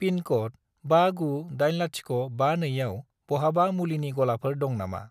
पिनक'ड 598052 आव बहाबा मुलिनि गलाफोर दं नामा?